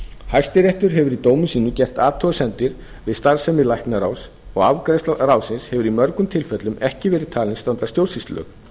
hæstiréttur hefur í dómum sínum gert athugasemdir við starfsemi læknaráðs og afgreiðsla ráðsins hefur í mörgum tilfellum ekki verið talin standast stjórnsýslulög